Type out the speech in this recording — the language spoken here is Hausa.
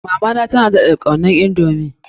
Mama na daɗa was kaunar indomie.